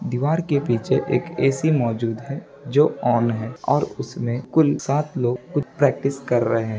दीवार के पीछे एक ए_सी मौजूद है जो ऑन है और उसमे कुल सात लॉग प्रैक्टिस कर रहे हैं ।